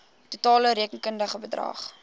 totale rekenkundige bedrag